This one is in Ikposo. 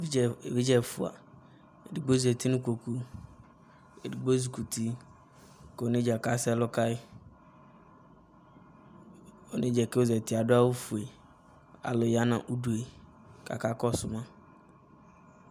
evidze ɛfua edigbo zati no ikpoku edigbo ezi kuti ko onedza ka sɛ ɛlo kayi onedzaɛ ko ozati ado awu fue alo ya no udu ko aka kɔso ma